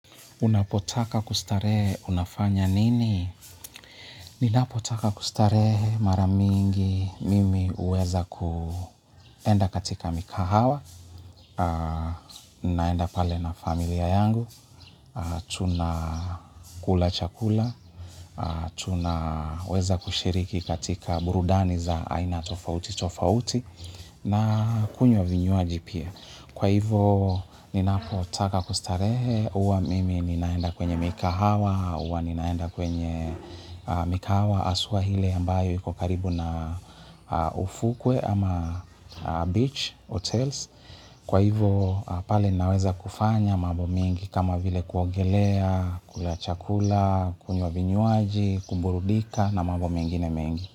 Unapotaka kustarehe unafanya nini? Ninapotaka kustarehe mara mingi mimi uweza kuenda katika mikahawa. Naenda pale na familia yangu. Tuna kula chakula. Tunaweza kushiriki katika burudani tofauti tofauti, na pia kunywa vinywaji pia. Kwa hivo, ninapotaka kustarehe, uwa mimi ninaenda kwenye mikahawa, uwa ninaenda kwenye mikahawa, asuwa hile ambayo ikokaribu na ufukwe ama beach, hotels. Kwa hivo, pale ninaweza kufanya mabo mingi kama vile kuogelea, kula chakula, kunywa vinyuaji, kuburudika na mambo mingine mengi.